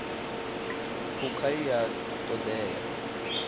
phukha i a ṱo ḓea